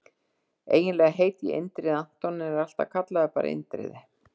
Eiginlega heiti ég Indriði Anton en ég er alltaf kallaður bara Indriði.